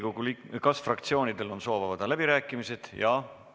Kas fraktsioonidel on soov avada läbirääkimised?